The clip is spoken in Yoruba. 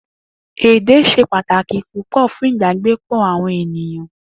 Èdè s̩e pàtàkì púpò̩ fún ìbágbépò̩ àwo̩n ènìyàn